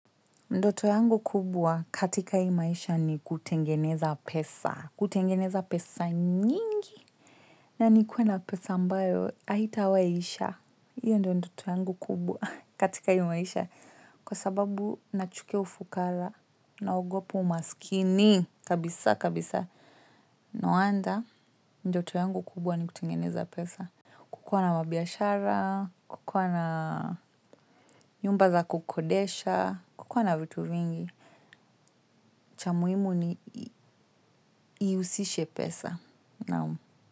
Ndoto yangu kubwa katika hii maisha ni kutengeneza pesa. Kutengeneza pesa nyingi. Na nikuwe na pesa ambayo haitawahi isha. Hiyo ndoto yangu kubwa katika hii maisha. Kwa sababu na chukia ufukara na ogopa umaskini. Kabisa, kabisa. Nowaday, ndoto yangu kubwa ni kutengeneza pesa. Kukuwa na mabiashara, kukuwa na nyumba za kukodisha kukuwa na vitu mengi cha muhimu ni hiusishe pesa naam.